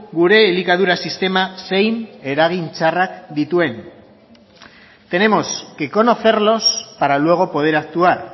gure elikadura sistema zein eragin txarrak dituen tenemos que conocerlos para luego poder actuar